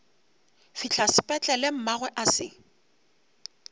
fihla sepetlele mmagwe a se